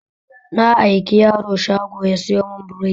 Na aiki yaro shago ya sayo mun burodi